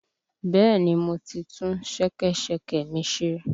Bẹ́ẹ̀ni, mo ti tún ṣẹkẹ́ṣẹkẹ̀ mi ṣe.